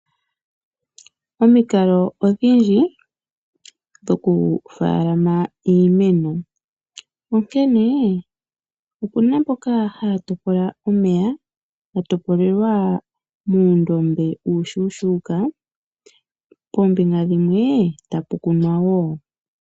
Omikalo odhindji dhoku faalama iimeno onkene, opuna mboka haya topola omeya, ga topolelwa muundombe uushuushuuka, poombinga dhimwe tapu kunwa wo.